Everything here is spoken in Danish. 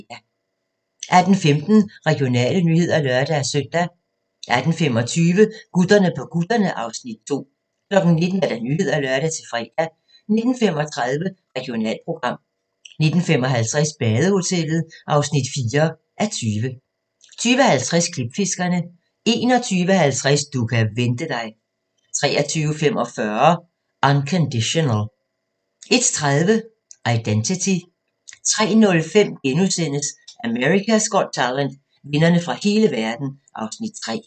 18:15: Regionale nyheder (lør-søn) 18:25: Gutterne på kutterne (Afs. 2) 19:00: Nyhederne (lør-fre) 19:35: Regionalprogram 19:55: Badehotellet (4:20) 20:50: Klipfiskerne 21:50: Du kan vente dig 23:45: Unconditional 01:30: Identity 03:05: America's Got Talent - vindere fra hele verden (Afs. 3)*